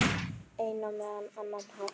Á einn eða annan hátt.